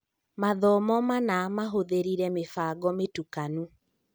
Mathomo manaa mahũthĩrire mĩbango mĩtukanu